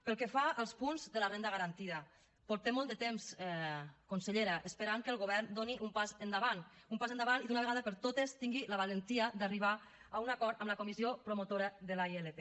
pel que fa als punts de la renda garantida portem molt de temps consellera esperant que el govern faci un pas endavant un pas endavant i d’una vegada per totes tingui la valentia d’arribar a un acord amb la comissió promotora de la ilp